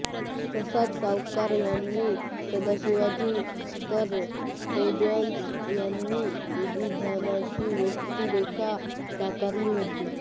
प्रसाद सावकार ह्यांनी सदाशिवची तर फैय्याज ह्यांनी झरिनाची व्यक्तिरेखा साकारली होती